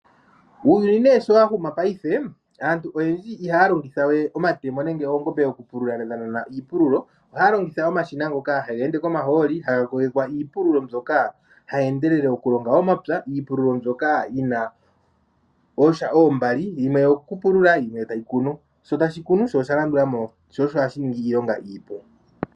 Uuyuni nee sho wa huma mongaashingeyi aantu oyendji iha ya longithawe omatemo nege oongombe dha nana iipululo oha ya longitha omashina ngoka haga ende komahooli haga kogekwa iipululo mbyoka hayi endelele okulonga omapya. Iipululo mbyoka yi na oondja oombali yimwe oyo kupulula yimwe tayi kunu, sho tashi kunu sho osha landulamo shoosho hashi ninga iilonga iipu.